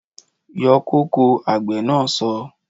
Yọ kóko! Àgbè na so